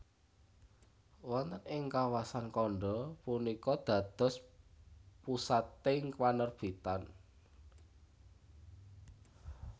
Wonten ing kawasan Kanda punika dados pusating panerbitan